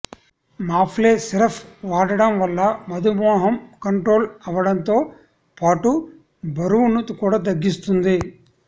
మాప్లే syrup వాడడం వల్ల మధుమేహం కంట్రోల్ అవ్వడంతో పాటు బరువును కూడా తగ్గిస్తుంది